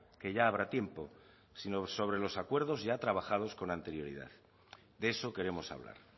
que ya habrá tiempo sino sobre los acuerdos ya trabajados con anterioridad de eso queremos hablar